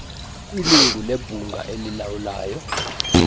ilungu lebhunga elilawulayo